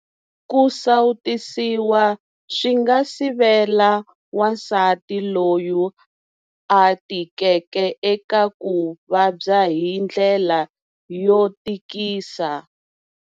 Ku sawutisiwa swi nga sivela wansati loyi a tikeke eka ku vabya hi ndlela yo tikisa.